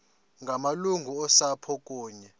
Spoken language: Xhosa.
ngamalungu osapho kunye